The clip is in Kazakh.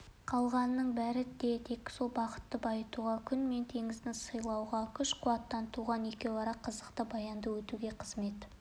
қалғанының бәрі де тек сол бақытты байытуға күн мен теңіз сыйлаған күш-қуаттан туған екеуара қызықты баянды өтуге қызмет